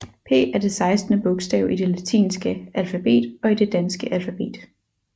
P er det sekstende bogstav i det latinske alfabet og i det danske alfabet